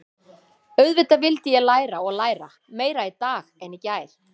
Auðvitað vildi ég læra og læra, meira í dag en í gær.